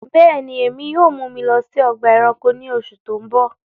Bẹẹni, ẹ̀mi yóò mú mi lọ sí ọgba ẹ̀ránkò ní òṣù tó ń bọ